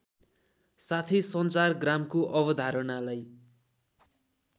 साथै सञ्चारग्रामको अवधारणालाई